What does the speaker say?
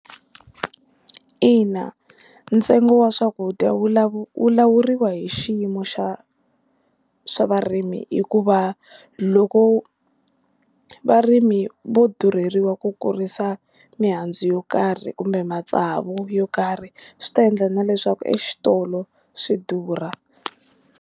Ina, ntsengo wa swakudya wu wu lawuriwa hi xiyimo xa xa varimi hikuva loko varimi vo durheliwa ku kurisa mihandzu yo karhi kumbe matsavu yo karhi swi ta endla na leswaku exitolo swi durha.